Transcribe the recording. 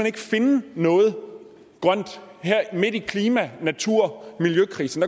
ikke finde noget grønt her midt i klima natur og miljøkrisen